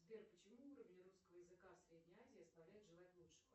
сбер почему уровень русского языка в средней азии оставляет желать лучшего